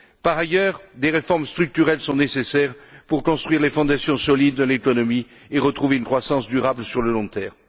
Par ailleurs, des réformes structurelles sont nécessaires pour construire les fondations solides de l'économie et retrouver une croissance durable sur le long terme.